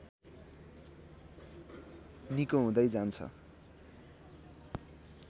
निको हुँदै जान्छ